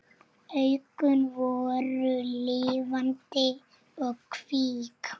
Augun voru lifandi og kvik.